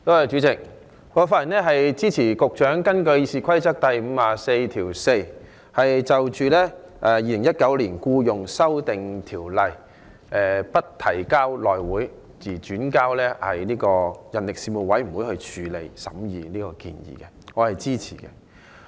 主席，我發言支持局長根據《議事規則》第544條，動議將《2019年僱傭條例草案》不交付內務委員會，而交付人力事務委員會處理，我是支持這項建議的。